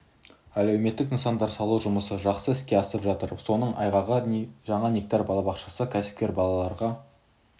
әлеуметтік нысандар салу жұмысы жақсы іске асып жатыр соның айғағы жаңа нектар балабақшасы кәсіпкер балаларға